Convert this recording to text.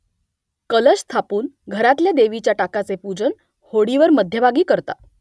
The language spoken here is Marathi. कलश स्थापून घरातल्या देवीच्या टाकाचे पूजन होडीवर मध्यभागी करतात